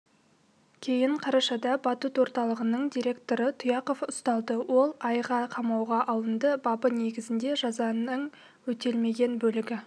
кейін қарашада батут орталығының директоры тұяқов ұсталды ол айға қамауға алынды бабы негізінде жазаның өтелмеген бөлігі